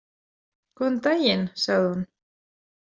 Góðan daginn, sagði hún.